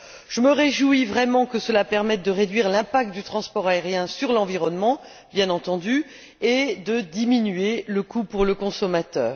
Je me réjouis vraiment que cela permette de réduire l'impact du transport aérien sur l'environnement, bien entendu, et de diminuer le coût pour le consommateur.